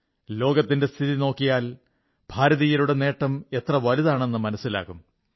ലോകത്തിന്റെ സ്ഥിതി നോക്കിയാൽ ഭാരതീയരുടെ നേട്ടം എത്ര വലുതാണെന്നു മനസ്സിലാകും